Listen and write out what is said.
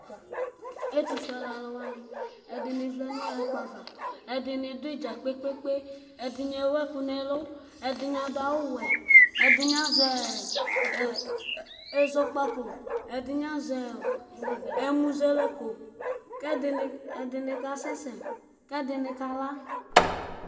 Ɛtʋ fuele alʋwani, ɛdini vlɛnʋ ɛkplɔ ava, ɛdini dʋ idza kpe kpe kpe ɛdini ewʋ ɛkʋ nʋ ɛkʋ, ɛdini adʋ awʋwɛ, ɛdini azɛ ɛzɔkpako, ɛdini azɛ emʋzɛlɛko, kʋ ɛdini kasɛsɛ kʋ ɛdini kala.